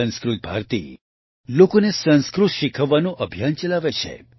સંસ્કૃત ભારતી લોકોને સંસ્કૃત શીખવવાનું અભિયાન ચલાવે છે